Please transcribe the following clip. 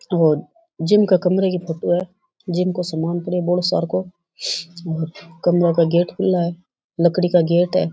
और जिम का कमरे की फोटो है जिम को सामान पड़ो है बोलो सारकोऔर कमरों का गेट खुले है लकड़ी का गेट है।